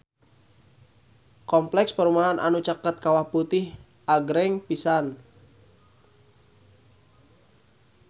Kompleks perumahan anu caket Kawah Putih agreng pisan